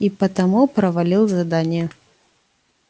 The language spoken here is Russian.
и потому провалил задание